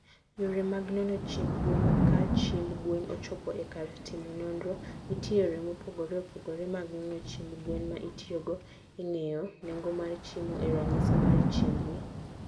Yore mag nono chiemb gwen, ka chiemb gwen ochopo e kar timo nonro, nitie yore mopogore opogore mag nono chiemb gwen ma itiyogo e ng'eyo nengo mar chiemo e ranyisi mar chiemb gi.